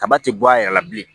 Kaba ti bɔ a yɛrɛ la bilen